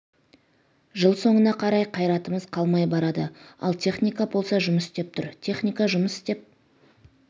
жыл соңына қарай қайратымыз қалмай барады ал техника болса жұмыс істеп тұр техника жұмыс істеп